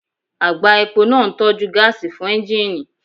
Àgbá epo náà ń tọ́jú gáàsì fún ẹ́ńjíìnì